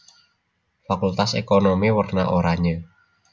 Fakultas Ekonomi werna oranye